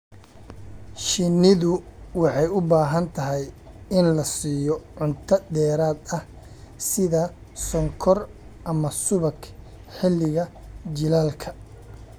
Shinnidu waxay u baahan tahay in la siiyo cunto dheeraad ah sida sonkor ama subag xilliga jiilaalka.